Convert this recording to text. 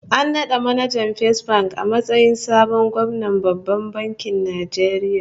An nada manajan Fesbank a matsayin sabon gwamnan Babban Bankin Nigeria